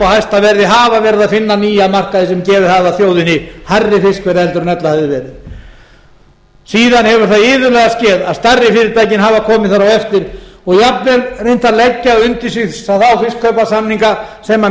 hæsta verði hafa verið að finna nýja markaði sem gefið hafa þjóðinni hærri fiskverð en ella hefði verið áðan hefur það iðulega skeð að stærri fyrirtækin hafa komið þar á eftir og jafnvel reynt að leggja undir sig þá fiskkaupasamigna sem minni